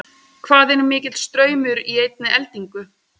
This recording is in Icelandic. hvað er mikill straumur í einni eldingu